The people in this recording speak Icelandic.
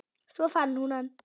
Svo fann hún hann.